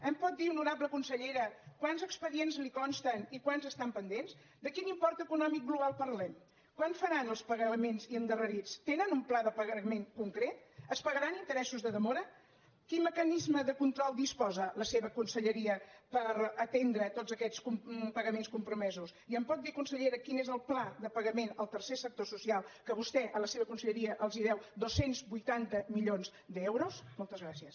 em pot dir honorable consellera quants expedients li consten i quants estan pendents de quin import econòmic global parlem quan faran els pagaments endarrerits tenen un pla de pagament concret es pagaran interessos de demora de quin mecanisme de control disposa la seva conselleria per atendre tots aquests pagaments compromesos i em pot dir consellera quin és el pla de pagament al tercer sector social que vostè a la seva conselleria els deu dos cents i vuitanta milions d’euros moltes gràcies